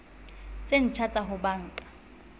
tse ntjha tsa ho banka